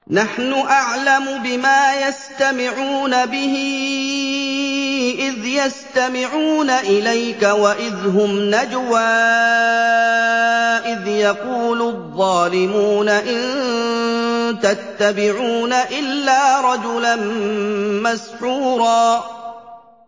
نَّحْنُ أَعْلَمُ بِمَا يَسْتَمِعُونَ بِهِ إِذْ يَسْتَمِعُونَ إِلَيْكَ وَإِذْ هُمْ نَجْوَىٰ إِذْ يَقُولُ الظَّالِمُونَ إِن تَتَّبِعُونَ إِلَّا رَجُلًا مَّسْحُورًا